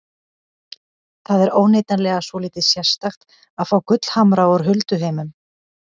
Það er óneitanlega svolítið sérstakt að fá gullhamra úr hulduheimum.